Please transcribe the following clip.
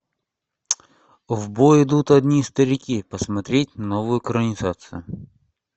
в бой идут одни старики посмотреть новую экранизацию